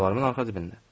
Şalvarımın arxa cibində.